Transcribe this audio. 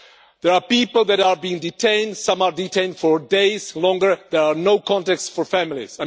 There are people that are being detained some are detained for days or longer, and there is no contact for families.